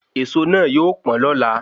Èso na yóò pọn lọ́la